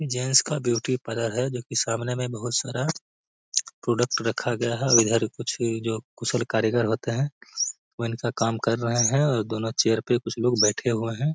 Gents का beauty parlour है जो की सामने में बहुत सारा प्रोडक्ट रखा गया है और इधर कुछ जो कुशल कारीगर होते हैं वह इनका काम कर रहे हैं और दोनों चेयर पे कुछ लोग बैठे हुए हैं।